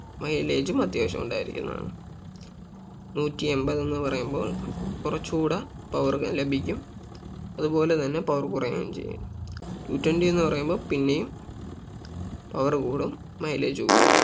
milage ഉം അത്യാവശ്യം ഉണ്ടായിരിക്കുന്നതാണ് നൂറ്റി എമ്പത് എന്ന് പറയുമ്പോൾ കുറച്ചു കൂടെ Power ലഭിക്കും അതുപോലെ തന്നെ Power കുറയുകയും ചെയ്യും two twenty എന്ന് പറയുമ്പോ പിന്നെയും power കൂടും mileage കുറയും